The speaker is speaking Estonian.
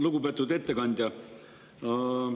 Lugupeetud ettekandja!